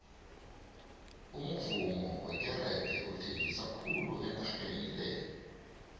umuvummo wekerege uthengisa khulu enageni le